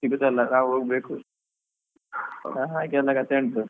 ಸಿಗುದಲ್ಲ ನಾವ್ ಹೋಗ್ಬೇಕು ಅಹ್ ಹಾಗೆಲ್ಲ ಕಥೆ ಉಂಟು.